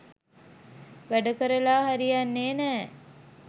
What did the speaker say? වැඩ කරලා හරියන්නේ නැ.